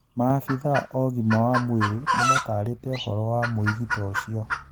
Maabithaa o-gima wa mwirĩ nĩmatarĩte ũhoro wa mwĩgito ũcio.